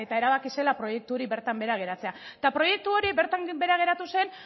erabaki zela proiektu hori bertan behera geratzea eta proiektu hori bertan behera geratu zen